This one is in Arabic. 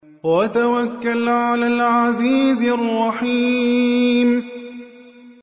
وَتَوَكَّلْ عَلَى الْعَزِيزِ الرَّحِيمِ